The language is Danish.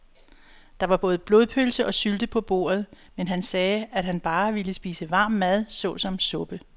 Der var både blodpølse og sylte på bordet, men han sagde, at han bare ville spise varm mad såsom suppe.